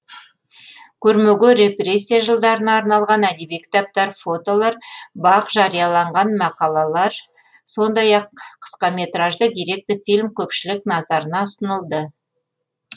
көрмеге репрессия жылдарына арналған әдеби кітаптар фотолар бақ жарияланған мақалалар сондай ақ қысқаметражды деректі фильм көпшілік назарына ұсынылды